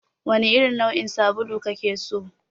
Wane irin nau'in sabulu kake so?